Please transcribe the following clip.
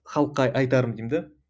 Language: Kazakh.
халыққа айтарым деймін де